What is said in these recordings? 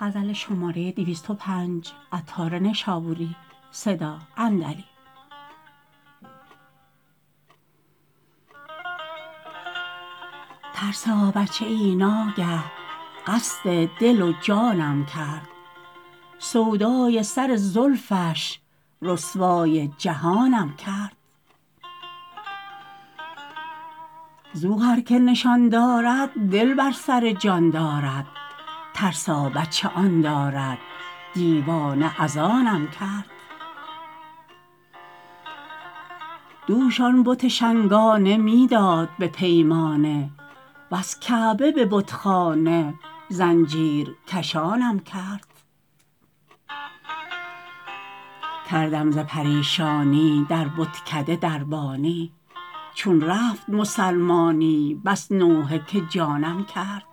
ترسا بچه ای ناگه قصد دل و جانم کرد سودای سر زلفش رسوای جهانم کرد زو هر که نشان دارد دل بر سر جان دارد ترسا بچه آن دارد دیوانه از آنم کرد دوش آن بت شنگانه می داد به پیمانه وز کعبه به بتخانه زنجیر کشانم کرد کردم ز پریشانی در بتکده دربانی چون رفت مسلمانی بس نوحه که جانم کرد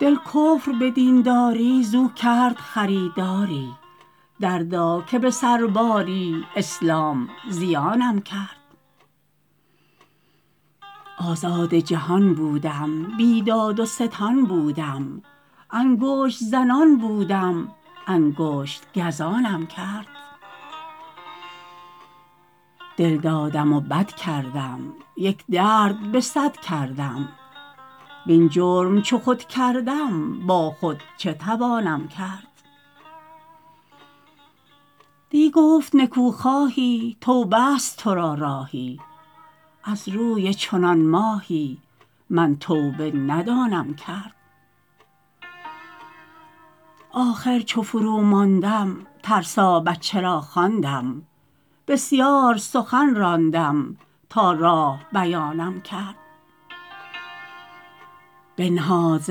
دل کفر به دین داری زو کرد خریداری دردا که به سر باری اسلام زیانم کرد آزاد جهان بودم بی داد و ستان بودم انگشت زنان بودم انگشت گزانم کرد دل دادم و بد کردم یک درد به صد کردم وین جرم چو خود کردم با خود چه توانم کرد دی گفت نکو خواهی توبه است تورا راهی از روی چنان ماهی من توبه ندانم کرد آخر چو فرو ماندم ترسا بچه را خواندم بسیار سخن راندم تا راه بیانم کرد بنهاد ز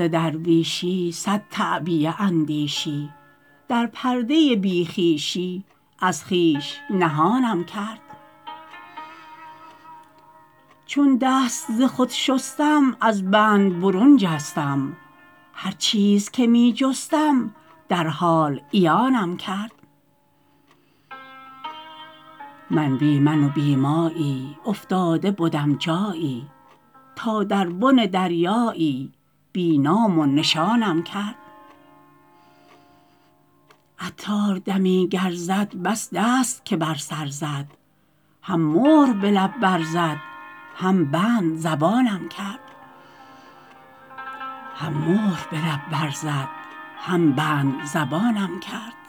درویشی صد تعبیه اندیشی در پرده بی خویشی از خویش نهانم کرد چون دست ز خود شستم از بند برون جستم هر چیز که می جستم در حال عیانم کرد من بی من و بی مایی افتاده بدم جایی تا در بن دریایی بی نام و نشانم کرد عطار دمی گر زد بس دست که بر سر زد هم مهر به لب بر زد هم بند زبانم کرد